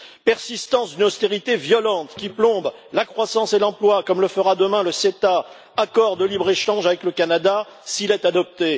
persistance d'une austérité violente qui plombe la croissance et l'emploi comme le fera demain le CETA accord de libre échange avec le Canada s'il est adopté